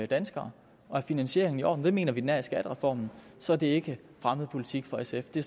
danskere og er finansieringen i orden og det mener vi den er i skattereformen så er det ikke fremmed politik for sf det